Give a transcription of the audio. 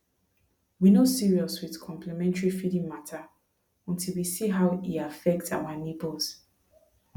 we no serious with complementary feeding matter until we see how e affect our neighbors